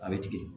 A bɛ tigɛ